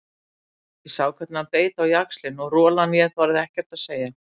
Ég sá hvernig hann beit á jaxlinn og rolan ég þorði ekkert að segja.